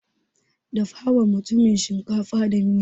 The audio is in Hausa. Dafawa mutumin shinkafa da miya.